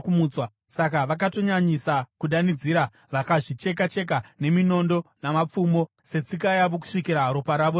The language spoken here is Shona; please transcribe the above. Saka vakatonyanyisa kudanidzira, vakazvicheka-cheka neminondo namapfumo, setsika yavo, kusvikira ropa ravo raerera.